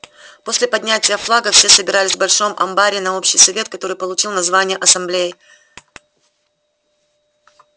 после поднятия флага все собирались в большом амбаре на общий совет который получил название ассамблеи